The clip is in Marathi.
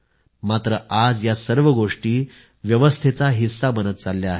मात्र आज या सर्व गोष्टी व्यवस्थेचा हिस्सा बनत चालल्या आहेत